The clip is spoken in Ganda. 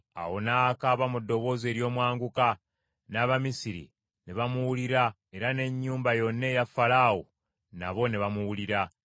Awo n’akaaba mu ddoboozi ery’omwanguka, n’Abamisiri ne bamuwulira era n’ennyumba yonna eya Falaawo nabo ne bamuwulira.